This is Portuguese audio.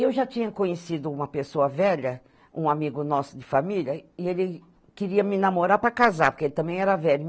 Eu já tinha conhecido uma pessoa velha, um amigo nosso de família, e ele queria me namorar para casar, porque ele também era velho.